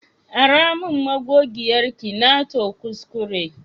Ara min magogiyar ki, na to kuskure.